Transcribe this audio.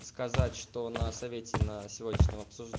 сказать что на совете на сегодняшнем обсужд